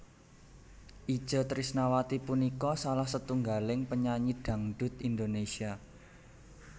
Itje Trisnawati punika salah setunggaling penyanyi dhangdhut Indonésia